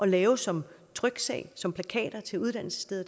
lave som tryksag som plakater til uddannelsessteder